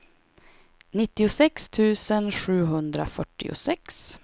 nittiosex tusen sjuhundrafyrtiosex